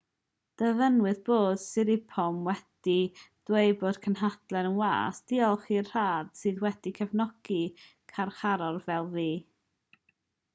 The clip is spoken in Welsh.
dyfynnwyd bod siriporn wedi dweud mewn cynhadledd i'r wasg diolch i'r rhad sydd wedi cefnogi carcharor fel fi